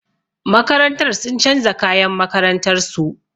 Makarantar sun canza kayan makarantar su.